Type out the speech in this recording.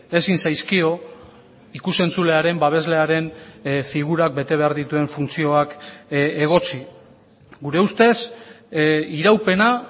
ezin zaizkio ikus entzulearen babeslearen figurak bete behar dituen funtzioak egotzi gure ustez iraupena